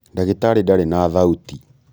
ndagĩtarĩ ndarĩ na thauti.